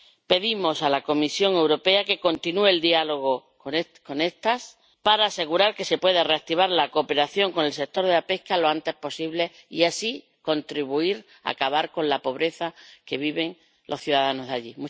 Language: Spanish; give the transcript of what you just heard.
Pedimos a la Comisión Europea que continúe el diálogo con estas, para asegurar que se pueda reactivar la cooperación con el sector de la pesca lo antes posible y así contribuir a acabar con la pobreza en que viven los ciudadanos allí.